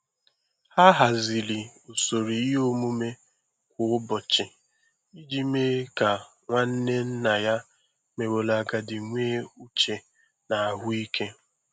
Ọ haziri usoro ihe omume kwa ụbọchị iji mee ka nwanne nna ya meworo agadi nwee uche na ahụ ike.